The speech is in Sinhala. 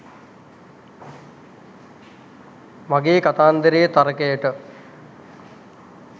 මගේ කතන්දරයේ තර්කයට